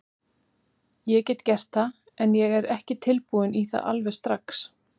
Ég get gert það, en ég er ekki tilbúinn í það alveg strax.